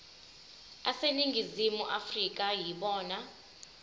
aseningizimu afrika yibona